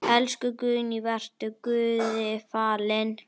Elsku Guðný, vertu Guði falin.